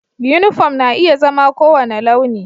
Uniform na iya zama kowane launi